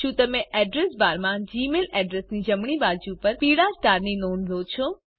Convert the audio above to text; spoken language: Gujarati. શું તમે એડ્રેસ બારમાં જીમેઇલ અડ્રેસ ની જમણી બાજુ પર પીળા સ્ટાર ની નોંધ લો છો